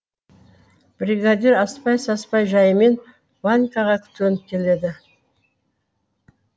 бригадир аспай саспай жаймен ванькаға төніп келеді